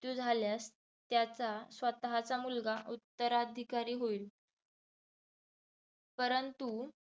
झाल्यास त्याचा स्वतःचा मुलगा उत्तराधिकारी होईल. परंतु